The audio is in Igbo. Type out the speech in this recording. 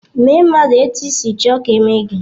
Mee mmadụ etu isi chọọ ka eme gị.